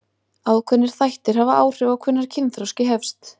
Ákveðnir þættir hafa áhrif á hvenær kynþroski hefst.